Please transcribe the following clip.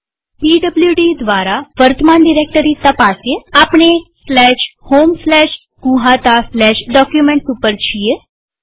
PWD દ્વારા વર્તમાન directory તપાસીએઆપણે homegnuhataDocuments ઉપર છીએ